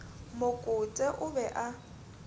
mo kote o be a